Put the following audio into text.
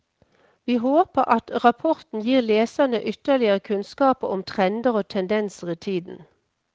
Vi håper at rapporten gir leserne ytterligere kunnskaper om trender og tendenser i tiden.